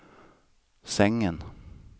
sängen